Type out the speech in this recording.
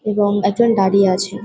এবং একজন দাঁড়িয়ে আছে।